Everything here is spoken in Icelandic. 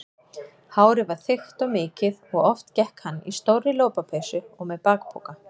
Hárið var þykkt og mikið og oft gekk hann í stórri lopapeysu og með bakpoka.